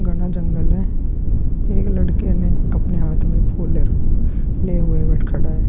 घना जंगल है। एक लड़के ने अपने हाथ में फूल ले लिए हुआ खड़ा है।